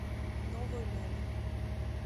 новой ляле